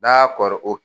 N'a kɔrɔ